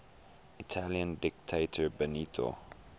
italian dictator benito